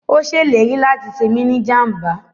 Ó ṣèlérí láti ṣe mí ni jàmbá